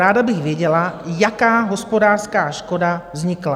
Ráda bych věděla, jaká hospodářská škoda vznikla?